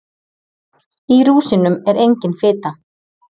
Í rúsínum er engin fita.